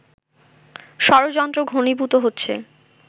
ষড়যন্ত্র ঘণীভুত হচ্ছে